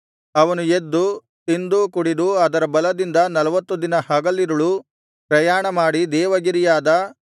ಅವನು ಎದ್ದು ತಿಂದು ಕುಡಿದು ಅದರ ಬಲದಿಂದ ನಲ್ವತ್ತು ದಿನ ಹಗಲಿರುಳು ಪ್ರಯಾಣ ಮಾಡಿ ದೇವಗಿರಿಯಾದ